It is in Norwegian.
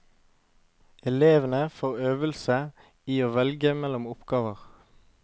Elevene får øvelse i å velge mellom oppgaver.